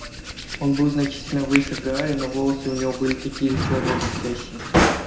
он был значительно выше гарри но волосы у него были такие же чёрные и блестящие